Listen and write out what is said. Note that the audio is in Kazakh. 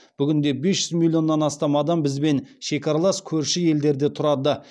бүгінде бес жүз миллионнан астам адам бізбен шекаралас көрші елдерде тұрады